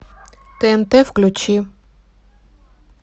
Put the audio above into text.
тнт включи